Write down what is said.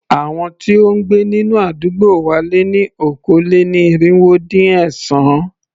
Àwọn tí ó ń gbé nínú àdúgbò wa lé ní okòó-lé-ní-irínwó-dín-ẹ̀sán.